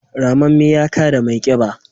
ramamme ya kada mai kiba